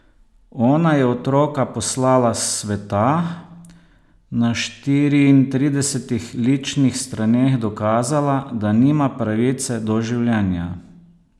Ona je otroka poslala s sveta, na štiriintridesetih ličnih straneh dokazala, da nima pravice do življenja.